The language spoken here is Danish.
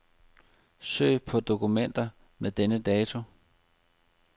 Søg på dokumenter med denne dato.